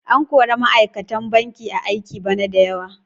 An kori ma'aikatan banki a aiki bana da yawa.